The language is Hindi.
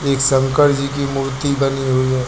एक शंकर जी की मूर्ति बनी हुई है।